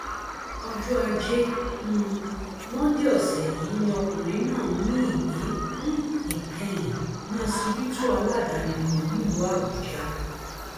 ọjọ ajé um monde ọsẹ yìí ni ọkùnrin náà mí ìmí um ìkẹyìn ní ọsibítù aládàáni kan nílùú àbújá